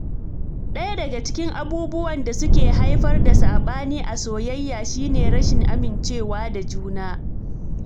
Ɗaya daga cikin abubuwan da suke haifar da saɓani a soyayya shi ne rashin amincewa da juna.